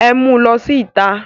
Ẹ mu lọ sí ìta!